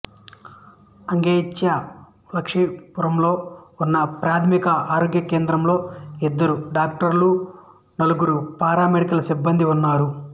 అగెంచ్య్ లక్ష్మిపురంలో ఉన్న ఒకప్రాథమిక ఆరోగ్య కేంద్రంలో ఇద్దరు డాక్టర్లు నలుగురు పారామెడికల్ సిబ్బందీ ఉన్నారు